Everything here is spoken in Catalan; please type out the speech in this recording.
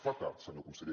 fa tard senyor conseller